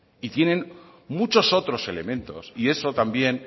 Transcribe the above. y tienen muchos otros elementos y eso también